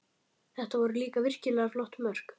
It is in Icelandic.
Þetta voru líka virkilega flott mörk